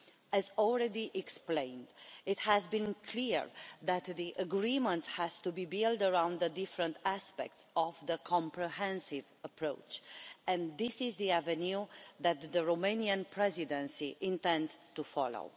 As already explained, it has been clear that the agreement has to be built around the different aspects of the comprehensive approach, and this is the avenue that the Romanian Presidency intends to follow.